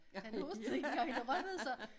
Han hostede ikke engang han rømmede sig